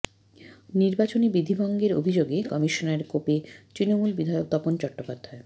নির্বাচনী বিধিভঙ্গের অভিযোগে কমিশনের কোপে তৃণমূল বিধায়ক তপন চট্টোপাধ্যায়